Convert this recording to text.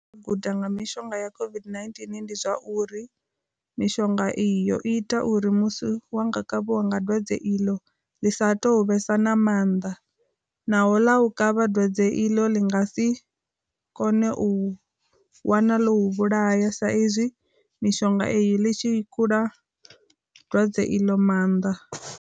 Guda nga mishonga ya COVID-19 ndi zwa uri, mishonga iyo ita uri musi wa nga kavhiwa nga dwadze iḽo, ḽi sa touvhesa na maanḓa naho ḽa u kavha dwadze i ḽo ḽi nga si kone u wana ḽo vhulaya sa izwi mishonga iyo ḽi tshi i kula dwadze iḽo maanḓa.